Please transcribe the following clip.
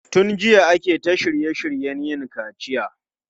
Tun jiya ake ta shirye shiryen yin kaciya.